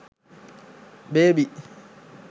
baby